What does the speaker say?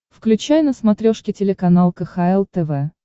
включай на смотрешке телеканал кхл тв